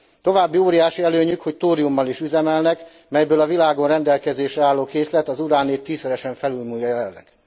További óriási előnyük, hogy tóriummal is üzemelnek, melyből a világon rendelkezésre álló készlet az uránét tízszeresen felülmúlja jelenleg.